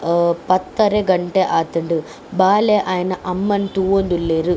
ಹ ಪತ್ತರೆ ಘಂಟೆ ಆತುಂಡು ಬಾಲೆ ಆಯೆನ ಅಮ್ಮನ್ ತೂವೊಂದುಲ್ಲೆರ್.